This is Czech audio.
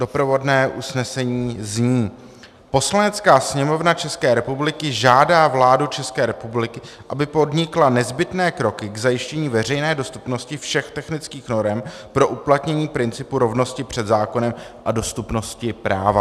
Doprovodné usnesení zní: "Poslanecká sněmovna České republiky žádá vládu České republiky, aby podnikla nezbytné kroky k zajištění veřejné dostupnosti všech technických norem pro uplatnění principu rovnosti před zákonem a dostupnosti práva."